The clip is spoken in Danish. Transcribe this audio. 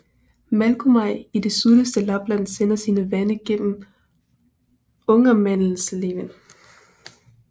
Malgomaj i det sydligste Lapland sender sine vande gennem Ångermanelven